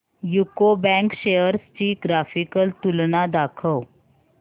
UCO bank shares ची graphical तुलना दाखव